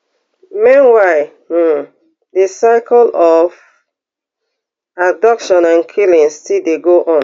meanwhile um di cycle of abductions and killings still dey go on